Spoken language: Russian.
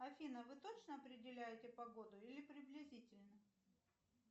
афина вы точно определяете погоду или приблизительно